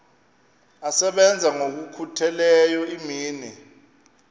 asebenza ngokokhutheleyo imini